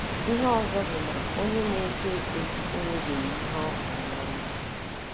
Ihe ọzọ bụ na onye na - eto eto enwebeghị ihe ọ hụrụ ná ndụ.